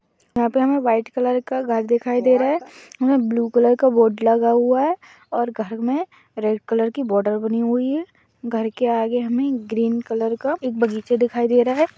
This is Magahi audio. यहाँ पे हमें व्हाइट कलर का घर दिखाई दे रहा है उसमे ब्लू कलर का बोर्ड लगा हुआ और घर में रेड कलर की बॉर्डर बनी हुई ही है घर के आगे हमें एक ग्रीन कलर का बगीचा दिखाई दे रहा है।